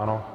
Ano.